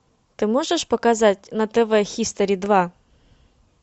ты можешь показать на тв хистори два